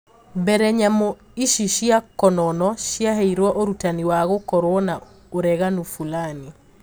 Mbere nyamu ici cia konono ciaheirwo urutani wa gũkorwo na ureganu fulani